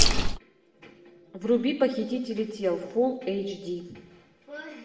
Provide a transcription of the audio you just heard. вруби похитители тел фул эйч ди